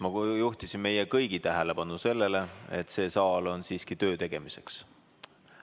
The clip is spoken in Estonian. Ma juhtisin meie kõigi tähelepanu sellele, et see saal on siiski töö tegemiseks.